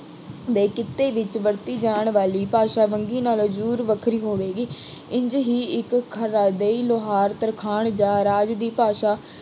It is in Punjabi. ਦੇ ਕਿੱਤੇ ਵਿੱਚ ਵਰਤੀ ਜਾਣ ਵਾਲੀ ਭਾਸ਼ਾ ਵੰਨਗੀ ਨਾਲੋਂ ਜ਼ਰੂਰ ਵੱਖਰੀ ਹੋਵੇਗੀ। ਇੰਝ ਹੀ ਇੱਕ ਖਰਾਦੇਈ, ਲੁਹਾਰ, ਤਰਖਾਣ ਜਾਂ ਰਾਜ ਦੀ ਭਾਸ਼ਾ